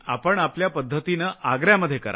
आपण आपल्या पद्धतीनं आग्र्यामध्ये करा